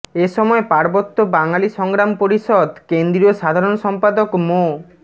এসময় পার্বত্য বাঙালি সংগ্রাম পরিষদ কেন্দ্রীয় সাধারণ সম্পাদক মো